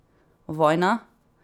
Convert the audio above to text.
Vojna?